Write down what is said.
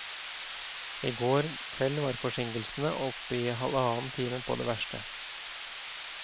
I går kveld var forsinkelsene oppe i halvannen time på det verste.